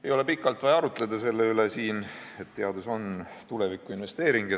Ei ole pikalt vaja siin arutleda selle üle, et teadus on tulevikuinvesteering.